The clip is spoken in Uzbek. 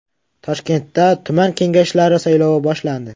Toshkentda tuman kengashlari saylovi boshlandi.